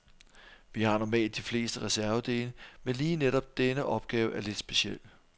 Vi har normalt de fleste reservedele, men lige netop denne opgave er lidt speciel.